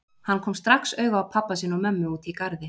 Hann kom strax auga á pabba sinn og mömmu úti í garði.